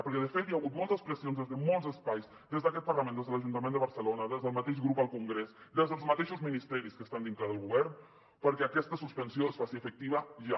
perquè de fet hi ha hagut moltes pressions des de molts espais des d’aquest parlament des de l’ajuntament de barcelona des del mateix grup al congrés des dels mateixos ministeris que estan dintre del govern perquè aquesta suspensió es faci efectiva ja